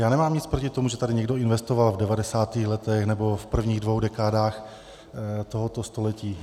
Já nemám nic proti tomu, že tady někdo investoval v 90. letech nebo v prvních dvou dekádách tohoto století.